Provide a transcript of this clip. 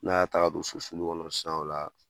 N'a y'a ta ka don so sulu kɔnɔ sisan o la